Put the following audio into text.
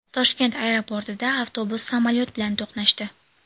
Toshkent aeroportida avtobus samolyot bilan to‘qnashdi.